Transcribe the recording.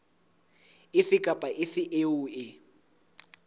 efe kapa efe eo e